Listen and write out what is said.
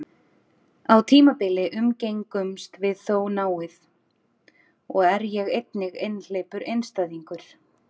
Á tímabili umgengumst við þó náið, og er ég einnig einhleypur einstæðingur.